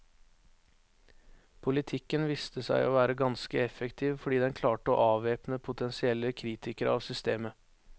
Politikken viste seg å være ganske effektiv fordi den klarte å avvæpne potensielle kritikere av systemet.